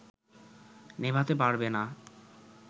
নেভাতে পারবে না